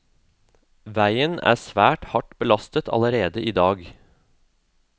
Veien er svært hardt belastet allerede i dag.